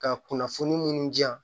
Ka kunnafoni munnu di yan